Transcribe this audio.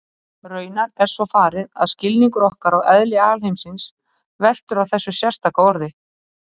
Raunar er svo farið að skilningur okkar á eðli alheimsins veltur á þessu sérstaka orði.